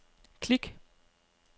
klik